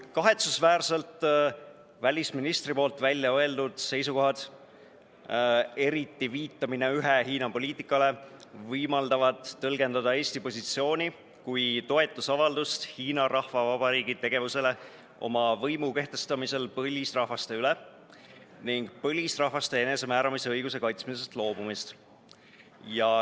Kahetsusväärselt välisministri väljaöeldud seisukohad, eriti viitamine ühe Hiina poliitikale, võimaldavad tõlgendada Eesti positsiooni kui toetust Hiina Rahvavabariigi tegevusele oma võimu kehtestamisel põlisrahvaste üle ning põlisrahvaste enesemääramise õiguse kaitsmisest loobumist.